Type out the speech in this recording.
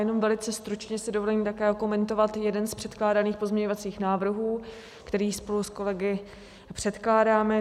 Jenom velice stručně si dovolím také okomentovat jeden z předkládaných pozměňovacích návrhů, který spolu s kolegy předkládáme.